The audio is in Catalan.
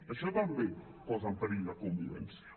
això també posa en perill la convivència